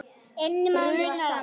inni mánuðum saman.